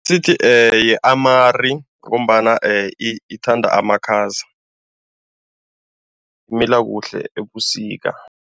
Sithi yi-amari ngombana ithanda amakhaza, imila kuhle ebusika.